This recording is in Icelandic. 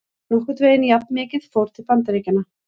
Nokkurn veginn jafnmikið fór til Bandaríkjanna.